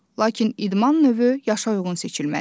Lakin idman növü yaşa uyğun seçilməlidir.